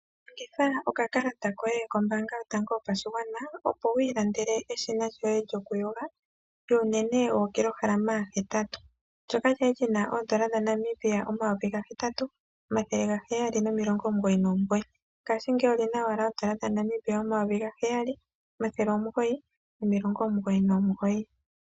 Longitha okakalata koye kombanga yotango yopashingwana, opo wiilandele eshina lyoye lyokuyonga lyuunene wookilohama hetatu ndyoka lyali lyina oondola dhaNamibia omayovi gahetatu omathele gaheyali nomilonga omugoyi nomugoyi ngaashi ngeyi olyina owala oondola dhaNamibia omayovi gaheyali omathele omugoyi nomilongo omugoyi nogoyi.